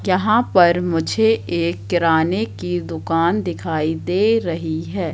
क्यहां पर मुझे एक किराने की दुकान दिखाई दे रहीं हैं।